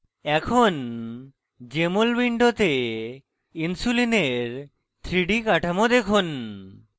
এখন jmol window insulin 3d কাঠামো দেখুন